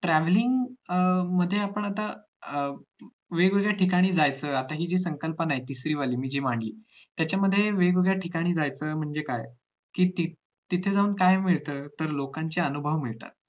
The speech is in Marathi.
travelling म्हणजे आता आपण अं वेगवेगळ्या ठिकाणी जायचं आताची जी संकल्पना आहे तिसरी वाली त्याच्यामध्ये वेगवेगळ्या ठिकाणी जायचं म्हणजे काय कि तिथं जाऊन काय मिळत तर लोकांचे अनुभव मिळतात